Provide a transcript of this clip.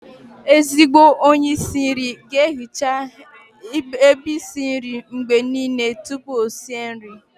Ezigbo onye isi nri ga-ehiche ebe isi nri ya mgbe niile tupu o sie nri